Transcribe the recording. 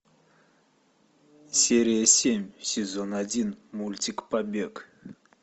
серия семь сезон один мультик побег